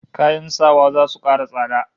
Kayan sawa zasu kara tsada